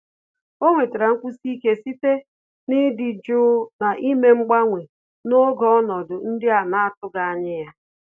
Ọ́ nwètàrà nkwụsi ike site n’ị́dị́ jụụ na ímé mgbanwe n’ógè ọnọdụ ndị a nà-àtụ́ghị́ ányá ya.